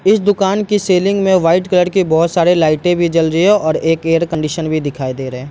इस दूकान की सीलिंग में व्हाइट कलर के बहुत सारे लाइटें भी जल रही हैं और एक एयर कंडीशन भी दिखाई दे रही हैं।